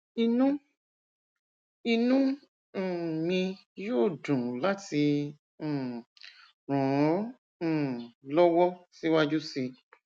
inú inú um mi yóò dùn láti um ràn ọ um lọwọ síwájú sí i